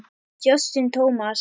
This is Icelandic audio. Justin Thomas.